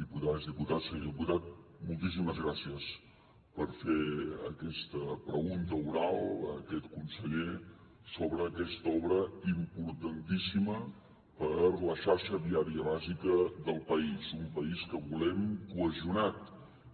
diputades diputats senyor diputat moltíssimes gràcies per fer aquesta pregunta oral a aquest conseller sobre aquesta obra importantíssima per a la xarxa viària bàsica del país un país que volem cohesionat